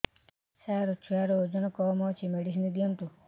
ସାର ଛୁଆର ଓଜନ କମ ଅଛି ମେଡିସିନ ଦିଅନ୍ତୁ